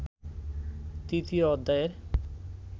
তৃতীয় অধ্যায়ের